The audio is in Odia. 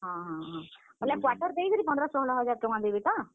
ହଁ, ହଁ, ହଁ, ବେଲେ quarter ଦେଇକି ପନ୍ଦର, ଷୋହଲ ହଜାର୍ ଟଙ୍କା ଦେବେ ତ?